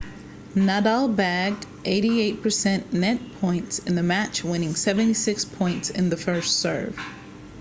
nadal bagged 88% net points in the match winning 76 points in the first serve